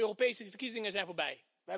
De Europese verkiezingen zijn voorbij.